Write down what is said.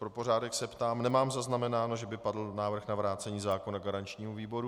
Pro pořádek se ptám, nemám zaznamenáno, že by padl návrh na vrácení zákona garančnímu výboru.